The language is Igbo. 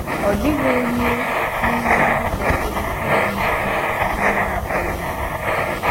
Ọ dịghị onye n’ime ndị kwesìrì ịbụ isi ihe na-akpàlì anyị.